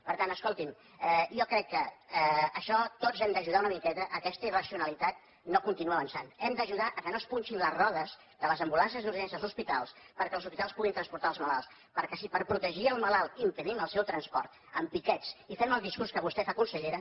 per tant escolti’m jo crec que en això tots hem d’ajudar una miqueta perquè aquesta irracionalitat no continuï avançant hem d’ajudar que no es punxin les rodes de les ambulàncies d’urgències als hospitals perquè els hospitals puguin transportar els malalts perquè si per protegir el malalt impedim el seu transport amb piquets i fem el discurs que vostè fa consellera